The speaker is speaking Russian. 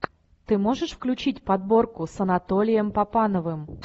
ты можешь включить подборку с анатолием папановым